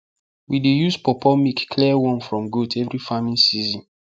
we dey use pawpaw milk clear worm from goat every farming season